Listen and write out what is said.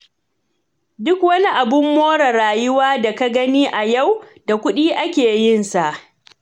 Duk wani abun more rayuwa da ka gani a yau, da kuɗi ake yin sa.